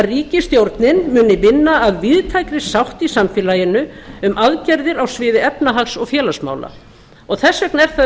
ríkisstjórnin muni vinna að víðtækri sátt í samfélaginu um aðgerðir á sviði efnahags og félagsmála þess vegna er það